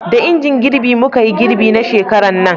da injin girbi muka yi girbi na shekaran nan